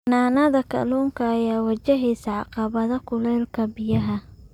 Xanaanada kalluunka ayaa wajahaysa caqabado kuleylka biyaha.